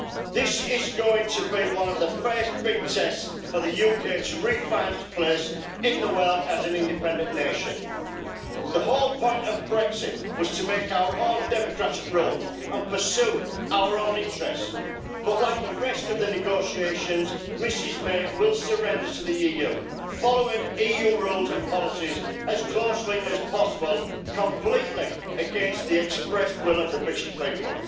This is going to be one of the first big tests for the UK to refind its place in the world as an independent nation. The whole point of Brexit was to make our own democratic rules and pursue our own interests, but like the rest of the negotiations, Ms May will surrender to the EU, following EU rules and policies as closely as possible, completely against the express will of the British people.